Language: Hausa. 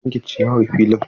An yanka ciyawar filin?